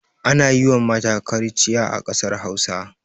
Ana yi wa mata kariciya a ƙasar Hausa.